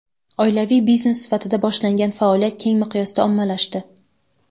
Oilaviy biznes sifatida boshlangan faoliyat keng miqyosda ommalashdi.